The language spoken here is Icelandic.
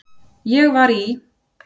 Ég var í